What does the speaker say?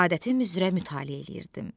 Adətim üzrə mütaliə eləyirdim.